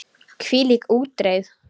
Hvílík útreið!